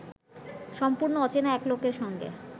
সম্পূর্ণ অচেনা এক লোকের সঙ্গে